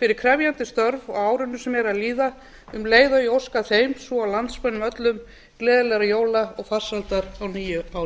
fyrir krefjandi störf á árinu sem er að líða um leið og ég óska þeim svo og landsmönnum gleðilegra jóla og farsældar á nýju ári